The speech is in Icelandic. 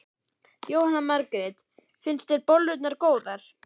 Jóhanna Margrét: Finnst þér bollurnar góðar?